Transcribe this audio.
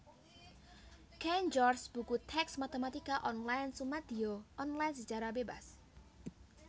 Cain George Buku tèks Matématika Online sumadiya online sacara bébas